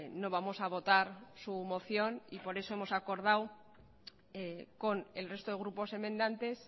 no vamos a votar su moción y por eso hemos acordado con el resto de grupos enmendantes